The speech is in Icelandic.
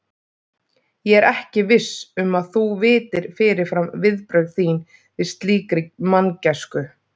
Ég er ekki viss um að þú vitir fyrirfram viðbrögð þín við slíkri manngæsku.